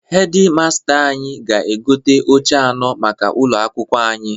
Hedi masta anyị ga-egote oche anọ maka ụlọ akwụkwo anyị.